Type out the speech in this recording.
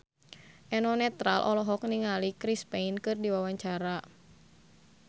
Eno Netral olohok ningali Chris Pane keur diwawancara